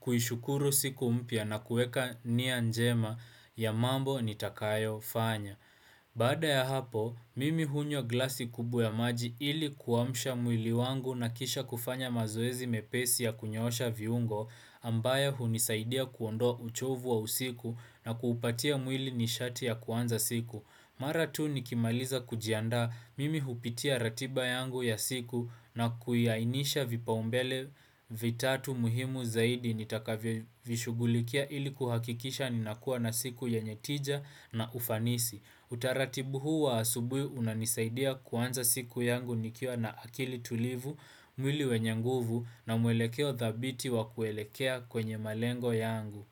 kuishukuru siku mpya na kuweka nia njema ya mambo nitakayo fanya. Baada ya hapo, mimi hunywa glasi kubwa ya maji ili kuamsha mwili wangu na kisha kufanya mazoezi mepesi ya kunyosha viungo ambayo hunisaidia kuondoa uchovu wa usiku na kuupatia mwili nishati ya kuanza siku. Mara tu nikimaliza kujiandaa mimi hupitia ratiba yangu ya siku na kuiainisha vipaumbele vitatu muhimu zaidi nitakavyovishugulikia ili kuhakikisha ninakuwa na siku yenye tija na ufanisi. Utaratibu huu wa asubuhi unanisaidia kuanza siku yangu nikiwa na akili tulivu, mwili wenye nguvu na mwelekeo thabiti wa kuelekea kwenye malengo yangu.